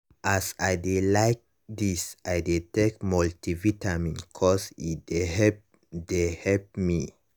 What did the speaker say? as i dey like this i dey take multivitamin cause e dey help dey help me.